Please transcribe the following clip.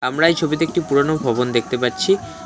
আমরা এই ছবিতে একটি পুরোনো ভবন দেখতে পাচ্ছি।